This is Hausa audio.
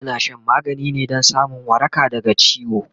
ana Shan magani ne Dan samun waraka daga ciwo